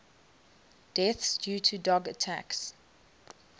deaths due to dog attacks